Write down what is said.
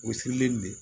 O sirilen de don